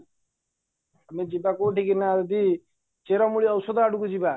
ଆମେ ଯିବା କୋଉଠିକି ନା ଯଦି ଚେରମୂଳି ଔଷଧ ଆଡକୁ ଯିବା